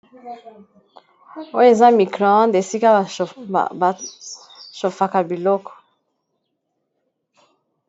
Oyo eza microonde esika bashofaka biloko.